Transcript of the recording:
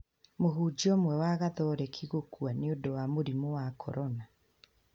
Mũhunjia ũmwe wa gatoreki gũkua nĩ ũndũ wa mũrimũ wa corona